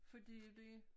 Fordi det